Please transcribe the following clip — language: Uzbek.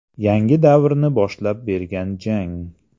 Yangi davrni boshlab bergan jang.